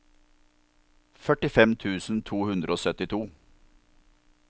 førtifem tusen to hundre og syttito